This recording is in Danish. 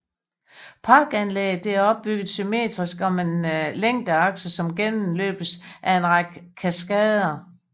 Parkanlægget er opbygget symmetrisk om en længdeakse som gennemløbes af en række kaskader